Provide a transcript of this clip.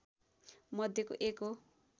मध्यको एक हो